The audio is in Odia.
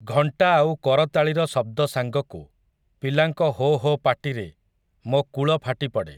ଘଣ୍ଟା ଆଉ କରତାଳିର ଶଦ୍ଦ ସାଙ୍ଗକୁ, ପିଲାଙ୍କ ହୋ ହୋ ପାଟିରେ, ମୋ କୂଳ ଫାଟିପଡ଼େ ।